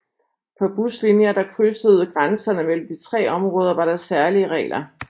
På buslinjer der krydsede grænserne mellem de tre områder var der særlige regler